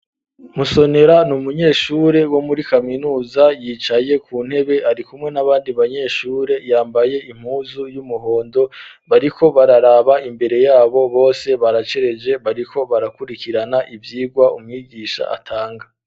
Musonera ni umunyeshure wo muri kaminuza, yicaye ku ntebe ari kumwe n'abandi banyeshure, yambaye impuzu y'umuhondo, bariko bararaba imbere y'abo bose baracereje, bariko barakurikirana ivyigwa, umwigisha atanga.